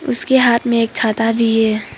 उसके हाथ में एक छाता भी है।